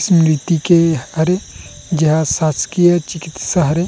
स्मृति के हरे जेहा शासकीय चिकित्सा हरे--